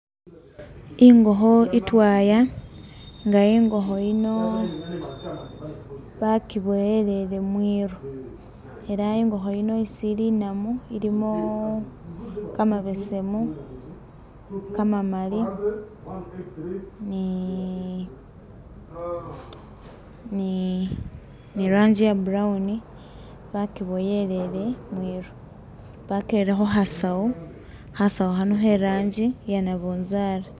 Ingokho itwaya nga ingokho yino bakiboyelele mwiru, ela ingokho yino isili inamu ilimo kamabesemu, kamamali ni ni ni ranji ye brown bakyiboyelele mwiru, bakirere khu khasawu khasawu khano khe ranji ye nabunzali